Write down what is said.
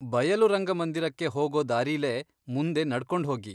ಬಯಲು ರಂಗಮಂದಿರಕ್ಕೆ ಹೋಗೋ ದಾರಿಲೇ ಮುಂದೆ ನಡ್ಕೊಂಡ್ಹೋಗಿ.